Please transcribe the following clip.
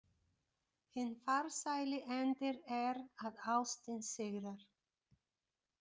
Hinn farsæli endir er að ástin sigrar.